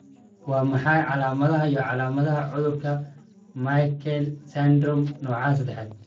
Waa maxay calaamadaha iyo calaamadaha cudurka Meckel syndromke nooca sedax?